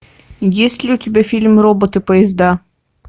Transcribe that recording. есть ли у тебя фильм роботы поезда